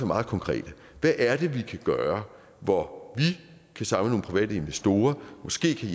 meget konkrete hvad er det vi kan gøre for at vi kan samle nogle private investorer måske kan